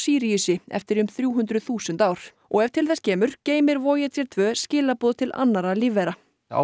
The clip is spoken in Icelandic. Síríusi eftir um þrjú hundruð þúsund ár og ef til þess kemur geymir tvö skilaboð til annarra lífvera á